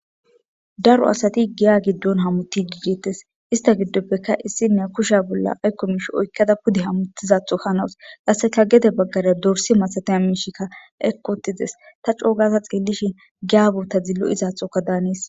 Daro asati giya giddon hamuttidi deettes ista giddoppekka issiniya kushsha bolla aykko miishshi oykada pudde hamutizaththo hanawus qasekka gedde baggara dorsse masatiya miishshikka eqqi uuttides ta c'oo gadda xellishin giya bootazi lo'izathokka hannes